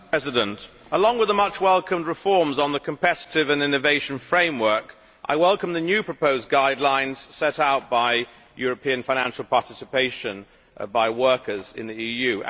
Mr President, along with the much welcomed reforms on the competitive and innovation framework, I welcome the new proposed guidelines set out for European financial participation by workers in the EU.